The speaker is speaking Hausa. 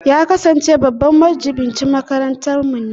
Ya kasance babban majibincin makarantarmu